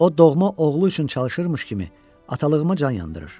O doğma oğlu üçün çalışırmış kimi atalığıma can yandırır.